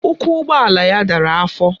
Ụkwụ ụgbọala ya dara afọ